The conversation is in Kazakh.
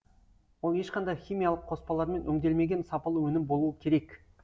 ол ешқандай химиялық қоспалармен өңделмеген сапалы өнім болуы керек